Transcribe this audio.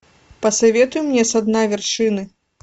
посоветуй мне со дна вершины